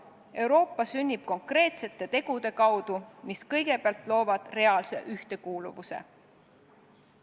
Euroopa sünnib konkreetsete tegude kaudu, mis kõigepealt loovad reaalse ühtekuuluvuse.